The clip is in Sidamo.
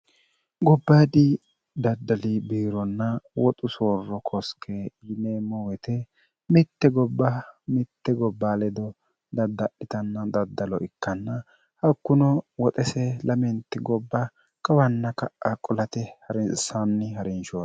gobbaadi daddali biironna woxu soorro kosike yineemmo wete mitte gobba mitte gobba ledo daddaalhitanna daddalo ikkanna hakkuno woxese lamenti gobba kawanna ka'a qulate harinsaanni ha'rinshohro